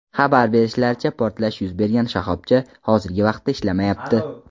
Xabar berishlaricha, portlash yuz bergan shoxobcha hozirgi vaqtda ishlamayapti.